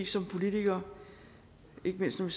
som politikere ikke mindst når vi